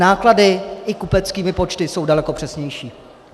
Náklady i kupeckými počty jsou daleko přesnější.